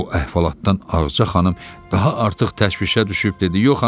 Bu əhvalatdan Ağca xanım daha artıq təşvişə düşüb dedi: